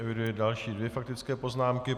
Eviduji další dvě faktické poznámky.